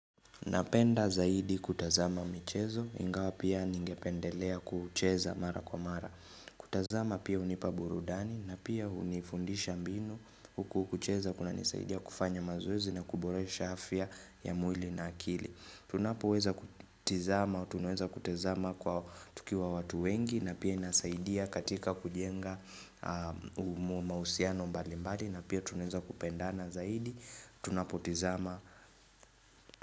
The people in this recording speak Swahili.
Napenda zaidi kutazama michezo, ingawa pia ningependelea kucheza mara kwa mara. Kutazama pia unipa burudani, napia unifundisha mbinu, huku kucheza kuna nisaidia kufanya mazoezi na kubore sha afya ya mwili na akili. Tunapo weza kutizama, tunaweza kutazama kwa tukiwa watu wengi, napia inasaidia katika kujenga mausiano mbali mbali, napia tunaweza kupenda na zaidi, tunapo tizama.